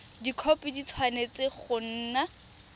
dikhopi di tshwanetse go nna